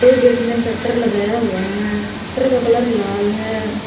दो गेट में शटर लगाया हुआ है शटर का कलर लाल है।